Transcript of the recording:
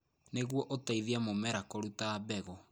Nĩguo ũteithie mũmera kũruta mbegũ.